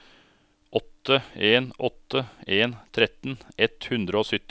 åtte en åtte en tretten ett hundre og sytti